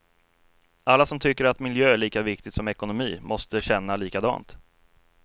Alla som tycker att miljö är lika viktigt som ekonomi måste känna likadant.